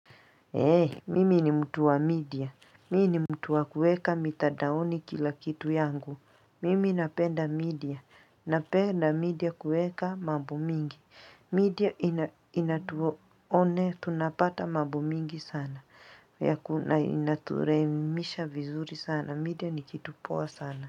Mimi ni mtu wa media. Mimi ni mtu wa kueka mitadaoni kila kitu yangu. Mimi napenda media. Napenda media kuweka mabo mingi. Media inatuone tunapata mabo mingi sana. Inaturemisha vizuri sana. Media nikitupoa sana.